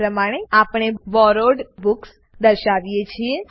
આ પ્રમાણે આપણે બોરોવ્ડ બુક્સ દર્શાવીએ છીએ